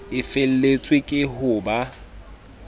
e feletswe ke ho ba